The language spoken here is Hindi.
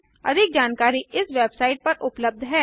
अधिक जानकारी इस वेबसाइट पर उबलब्ध है